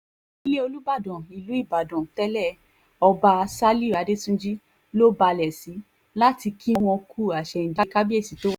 ilé olùbàdàn ilẹ̀ ìbàdàn tẹ̀lé ọba ṣálíù adẹ́túnjì ló balẹ̀ sí láti kí wọn kú àsẹ̀yìndẹ̀ kábíyèsí tó wájà